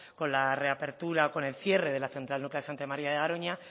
con la reapertura o con el cierre de la central nuclear de santa maría de garoña